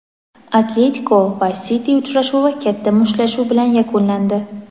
"Atletiko" va "Siti" uchrashuvi katta mushtlashuv bilan yakunlandi.